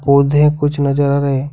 पौधे कुछ नजर आ रहे हैं।